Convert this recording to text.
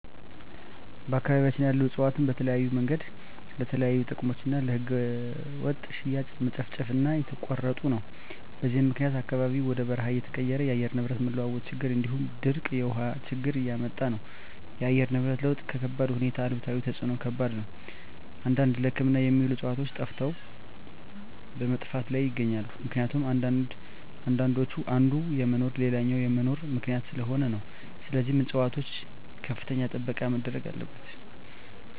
በአካባቢያቸን ያሉ እፅዋትን በተለያዮ መንገድ ለተለያዩ ጥቅም እና ለህገወጥ ሽያጭ መጨፍጨፉ እና እየተቆረጡ ነው በዚህም ምክኒያት አካባቢው ወደ በርሃ እየተቀየረ የአየር ንብረት መለዋወጥ ችግር እንዲሁም ድርቅ የውሀ ችግር እያመጣ ነው እና የአየር ንብረት ለውጥ ከባድሁኔታ ነው አሉታዊ ተፅዕኖው ከባድ ነው አንዳንድ ለህክምና የሚውሉ ዕፅዋቶች ጠፈተዋል በመጥፋት ላይም ይገኛሉ ምክኒቱም አንዳንዶች የአንዱ መኖር ለሌላኛው መኖር ምክኒያት ሰለሆኑ ነው ስለዚህም ፅፅዋቶች ከፍተኛ ጥበቃ መደረግ አለበት።